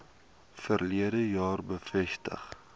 verlede jaar bevestig